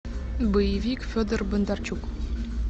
боевик федор бондарчук